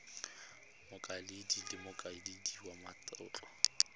mokaedi le mokaedi wa matlotlo